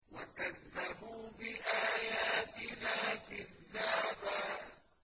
وَكَذَّبُوا بِآيَاتِنَا كِذَّابًا